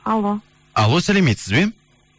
алло алло сәлеметсіз бе